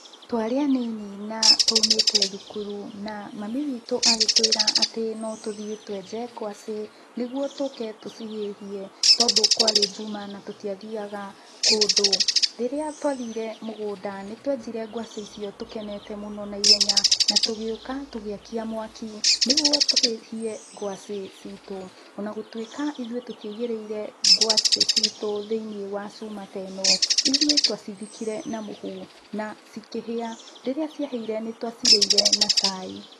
Twarĩ anini na twaumĩte thukuru na mami witũ agĩtwĩra atĩ notũthiĩ twenje ngwacĩ, nĩguo tũke tũcihĩhie tondũ kwarĩ njuma natũtiathiaga kũndũ. Rĩrĩa twathire mũgũnda, nĩtwenjire ngwacĩ icio tũkenete mũno na ihenya, na tũgĩũka tũgĩakia mwaki, nĩguo tũhĩhie ngwacĩ citũ, onagũtuĩka ithuĩ tũtiaigĩrĩire ngwacĩ citũ thĩinĩ wa cuma ta ĩno, ithuĩ twacithikire na mũhu na cikĩhĩa. Rĩrĩa ciahĩire nĩtwacirĩire na cai.